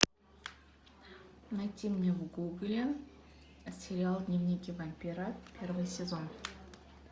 найти мне в гугле сериал дневники вампира первый сезон